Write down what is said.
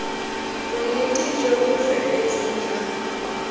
bonnete jo bo feletseng jwa